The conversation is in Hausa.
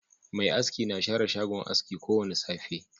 Mai aski na share shagon aski ko Wanda safe.